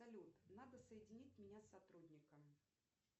салют надо соединить меня с сотрудником